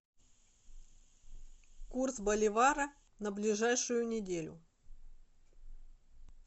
курс боливара на ближайшую неделю